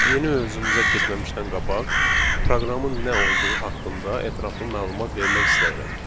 Yeni mövzumuza keçməmişdən qabaq proqramın nə olduğu haqqında ətraflı məlumat vermək istəyirəm.